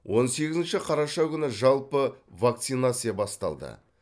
он сегізінші қараша күні жалпы вакцинация басталды